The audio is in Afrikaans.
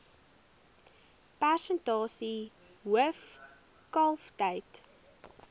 persentasie hoof kalftyd